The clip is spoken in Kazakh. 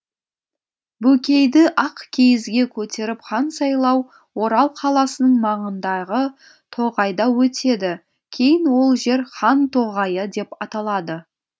бөкейді ақ киізге көтеріп хан сайлау орал қаласының маңындағы тоғайда өтеді кейін ол жер хан тоғайы деп аталады